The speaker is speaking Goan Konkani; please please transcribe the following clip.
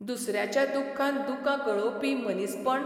दुसऱ्याच्या दुख्खान दुकां गळोवपी मनीसपण?